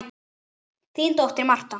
Þín dóttir, Marta.